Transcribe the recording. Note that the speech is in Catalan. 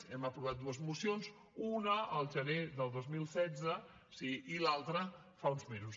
hem aprovat dues mocions una el gener del dos mil setze sí i l’altra fa uns mesos